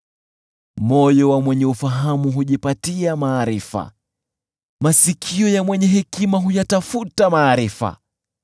Moyo wa mwenye ufahamu hujipatia maarifa, masikio ya mwenye hekima huyatafuta maarifa.